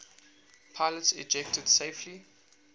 pilots ejected safely